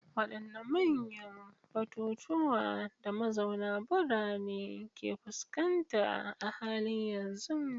Wadanne manyan batutuwan da mazauna birane ke fuskanta a halin yanzu?